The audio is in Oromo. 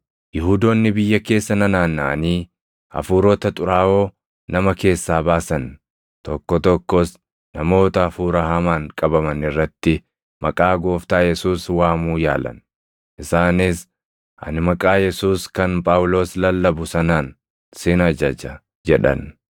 Yihuudoonni biyya keessa nanaannaʼanii hafuurota xuraaʼoo nama keessaa baasan tokko tokkos namoota hafuura hamaan qabaman irratti maqaa Gooftaa Yesuus waamuu yaalan; isaanis, “Ani maqaa Yesuus kan Phaawulos lallabu sanaan sin ajaja” jedhan.